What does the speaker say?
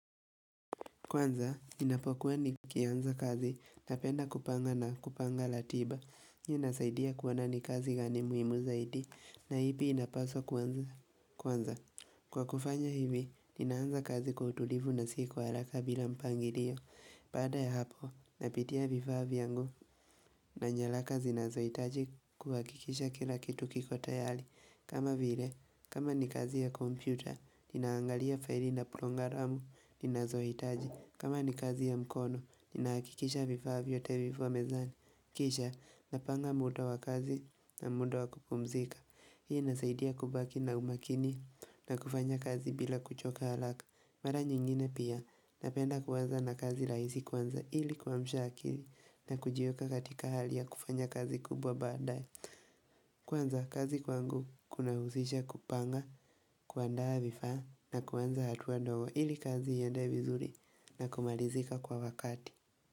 Kwanza, ninapokuwa nikianza kazi, napenda kupanga na kupanga latiba, hii inasaidia kuona ni kazi gani muhimu zaidi, na ipi inapaswa kuanza. Kwa kufanya hivi, ninaanza kazi kwa utulivu na si kwa haraka bila mpangirio, psada ya hapo, napitia vifaa vyangu, na nyalaka zinazoitaji kuhakikisha kila kitu kiko tayali. Kama vile, kama ni kazi ya kompyuta, ninaangalia faili na prongaramu, ninazohitaji kama ni kazi ya mkono, ninaakikisha vifaa vyote viko mezani Kisha, napanga muta wa kazi na mudo wa kupumzika Hii inasaidia kubaki na umakini na kufanya kazi bila kuchoka halaka Mara nyingine pia, napenda kuanza na kazi raisi kwanza ili kuamsha akili na kujieka katika hali ya kufanya kazi kubwa baadaye Kwanza kazi kwangu kunauzisha kupanga, kuandaa vifaa na kuanza hatua ndogo ili kazi iende vizuri na kumalizika kwa wakati.